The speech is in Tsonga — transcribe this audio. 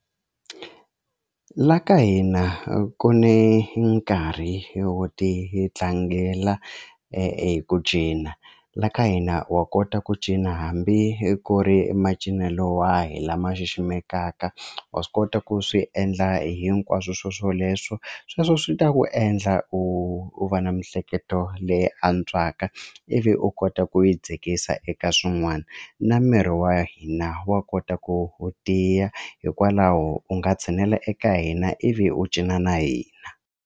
La ka hina ku ne nkarhi wo titlangela hi ku cina la ka hina wa kota ku cina hambi ku ri macinelo wahi lama xiximekaka wa swi kota ku swi endla hinkwaswo swoswoleswo sweswo swi ta ku endla u u va na miehleketo leyi antswaka ivi u kota ku yi dzikisa eka swin'wana na miri wa hina wa kota ku u tiya hikwalaho u nga tshinela eka hina ivi u cina na hina